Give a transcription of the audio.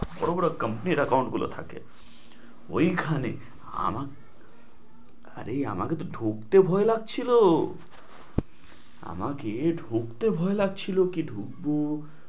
বড় বড় company র account গুলো থাকে ওইখানে। আমার আরে আমাকে তো ঢুকতে ভয় লাগছিল আমাকে ঢুকতে ভয় লাগছিল কি ঢুকবো